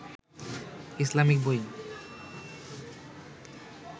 Islamic বই